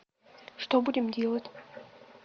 что будем делать